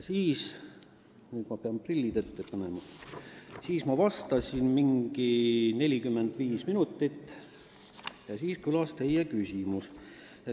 Siis – nüüd ma pean prillid ette panema – ma olin vastanud mingi 45 minutit ja seejärel kõlas teie küsimus.